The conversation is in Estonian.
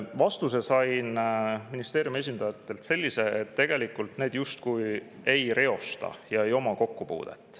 Vastuse sain ministeeriumi esindajatelt sellise, et need tegelikult justkui ei reosta ega oma sellega kokkupuudet.